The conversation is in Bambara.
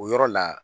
O yɔrɔ la